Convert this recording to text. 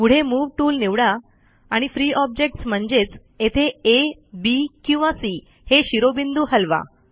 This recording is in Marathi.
पुढे मूव टूल निवडा आणि फ्री ऑब्जेक्ट्स म्हणजेच येथे आ बी किंवा सी हे शिरोबिंदू हलवा